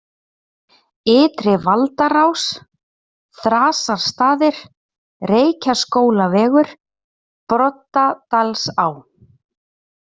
Ytri-Valdarás, Þrasastaðir, Reykjaskólavegur, Broddadalsá